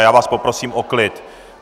A já vás poprosím o klid.